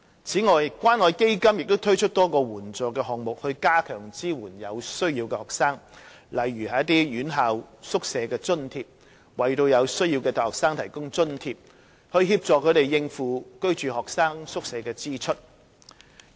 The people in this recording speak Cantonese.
此外，關愛基金亦推出多個援助項目，加強支援有需要的學生，例如"院校宿舍津貼"為有需要的大學生提供津貼，以協助他們應付居住學生宿舍的支出。